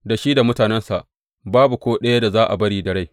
Da shi da mutanensa babu ko ɗaya da za a bari da rai.